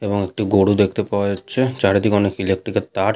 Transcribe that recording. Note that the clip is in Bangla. এবং একটি গরু দেখতে পাওয়া যাচ্ছে চারিদিকে অনেক ইলেক্ট্রিক -এর তার।